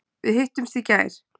Við hittumst í gær.